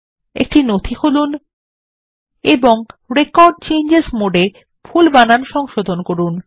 একটি নথি খুলুন এবং রেকর্ড চেঞ্জেস মোডে ভুল বানান সংশোধন করুন